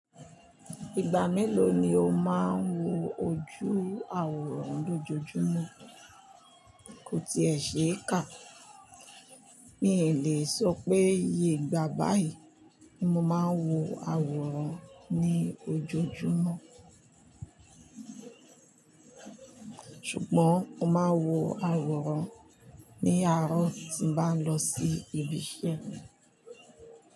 Ìgbà mélòó ni o máa ń wo ojú awòrán lójoojúmọ́? Ko ti è ṣe é kà. Mi ò lè sọ pé iye ìgbà báyìí ni mo máa ń wo àwòrán ní ojoojúmọ́. Ṣùgbọ́n mo máa wo àwòrán ní àárọ̀ tí n bá lọ sí ibi iṣẹ́ mi.